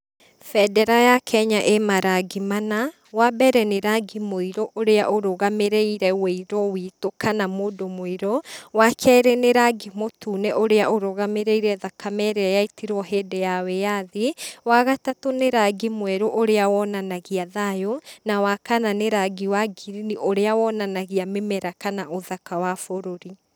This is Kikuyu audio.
Bendera ya Kenya ĩ marangi mana, wa mbere nĩ rangi mũirũ ũrĩa ũrũgamĩrĩire wĩirũ witũ kana mũndũ mũirũ, wa kerĩ nĩ rangi mũtune ũrĩa ũrũgamĩrĩrie thakame ĩrĩa yaitirwo hindĩ ya wĩyathi, wa gatatũ nĩ rangi mwerũ ũrĩa wonanagia thayũ, na wakana nĩ rangi wangirini ũrĩa wonanagia mĩmera kana ũthaka wa bũrũri.